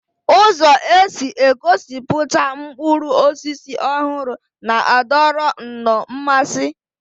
Ụzọ e si egosipụta mkpụrụ osisi ọhụrụ na-adọrọ nnọọ mmasị